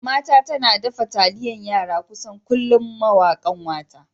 Mama ta tana dafa taliyan yara kusan kullum mawa ƙanwata.